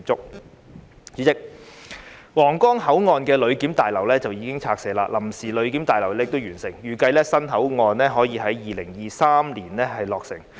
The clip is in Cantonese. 代理主席，皇崗口岸的旅檢大樓已拆卸，臨時旅檢大樓亦已完成，預計新口岸可以在2023年落成。